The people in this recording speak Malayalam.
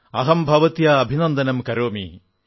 അഹം ഭവത്യാ അഭിനന്ദനം കരോമി